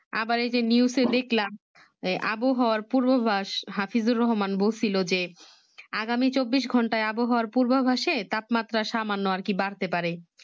আবার এই যে News এ দেখলাম আবহার পূর্বাভাস হাফিজুর রহমান বলছিলো যে আগামী চব্বিশ ঘন্টায় আহবার পূর্বাভাসএ তাপমাত্রা সামান্য আরকি বাড়তে পারে